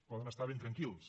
poden estar ben tranquils